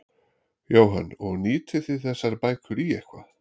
Jóhann: Og nýtið þið þessar bækur í eitthvað?